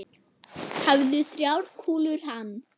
Hæfðu þrjár kúlur hann.